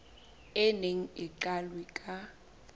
o neng o qalwe ka